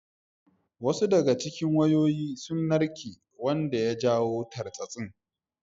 Wasu daga cikin wayoyi sun narke wanda ya jawo tartsatsin.